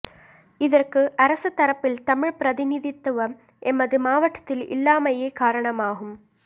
இதற்கு அரச தரப்பில் தமிழ் பிரதிநிதித்துவம் எமது மாவட்டத்தில் இல்லாமையே காரணமாகும்